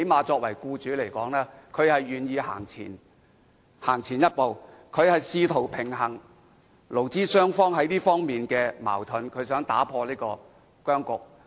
作為僱主，他最低限度願意走前一步，試圖平衡勞資雙方在這方面的矛盾，打破僵局。